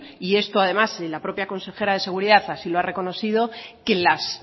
y esto además la propia consejera de seguridad así lo ha reconocido que las